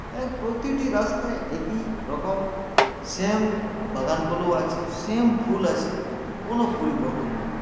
এক প্রতিটি রাস্তাই একই রকম same বাগানগুলো আছে same ফুল আছে কোন পরিবর্তন নাই